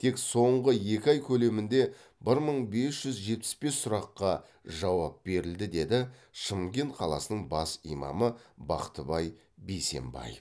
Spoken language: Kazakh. тек соңғы екі ай көлемінде бір мың бес жүз жетпіс бес сұраққа жауап берілді деді шымкент қаласының бас имамы бақтыбай бейсенбаев